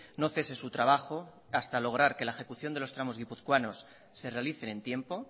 no cese su trabajo hasta lograr que la ejecución de los tramos guipuzcoanos se realicen en tiempo